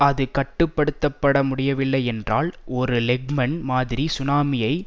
அது கட்டு படுத்த பட முடியவில்லை என்றால் ஒரு லெஹ்மன் மாதிரி சுனாமியை